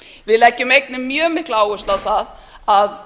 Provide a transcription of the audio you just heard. við leggjum einnig mjög mikla áherslu á það að